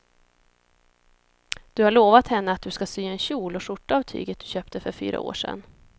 Du har lovat henne att du ska sy en kjol och skjorta av tyget du köpte för fyra år sedan.